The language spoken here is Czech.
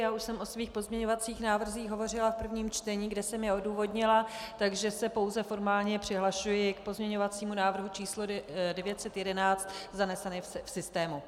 Já už jsem o svých pozměňovacích návrzích hovořila v prvním čtení, kde jsem je odůvodnila, takže se pouze formálně přihlašuji k pozměňovacímu návrhu číslo 911 zanesenému v systému.